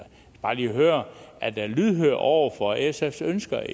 bare lige høre er det lydhørhed over for sfs ønsker